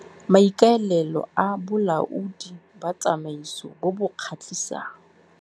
MAIKAELELO A BOLAODI BA TSAMAISO BO BO KGATLHISANG.